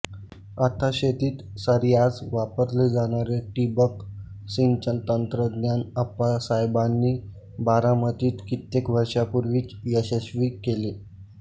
आता शेतीत सर्रास वापरले जाणारे ठिबक सिंचन तंत्रज्ञान अप्पासाहेबांनी बारामतीत कित्येक वर्षांपूर्वीच यशस्वी केले